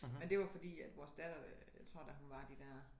Men det var fordi at vores datter jeg tror da hun var de dér